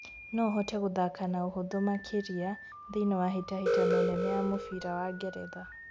No hote gũthaka na ũhuthũ makĩria thĩinĩ wa hĩtahĩtano nene ya mũbira wa Ngeretha